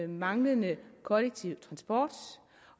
manglende kollektiv transport